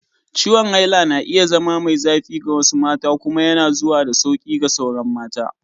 Ciwon haila na iya zama mai zafi ga wasu mata kuma yana zuwa da sauƙi ga sauran mata.